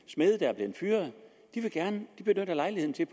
der er blevet fyret de benytter lejligheden til